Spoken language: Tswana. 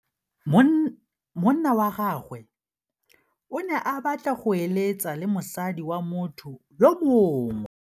Monna wa gagwe o ne a batla go êlêtsa le mosadi wa motho yo mongwe.